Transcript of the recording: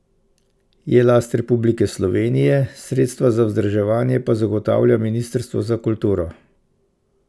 Je last Republike Slovenije, sredstva za vzdrževanje pa zagotavlja ministrstvo za kulturo.